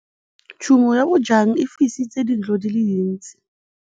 Tshumô ya bojang e fisitse dintlo di le dintsi.